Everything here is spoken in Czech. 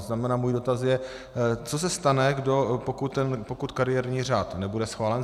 To znamená, můj dotaz je, co se stane, pokud kariérní řád nebude schválen.